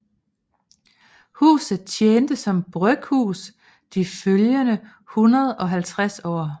Huset tjente som bryghus de følgende 150 år